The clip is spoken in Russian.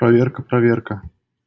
проверка проверка